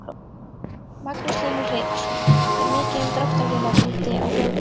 Magnús Hlynur Hreiðarsson: Er mikið um dráttarvélar úti á þjóðvegunum?